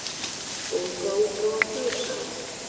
Bókaútgáfan Þjóðsaga.